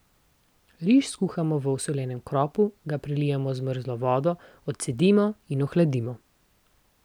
Riž skuhamo v osoljenem kropu, ga prelijemo z mrzlo vodo, odcedimo in ohladimo.